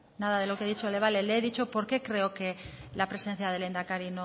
le he dicho por qué creo que la presencia del lehendakari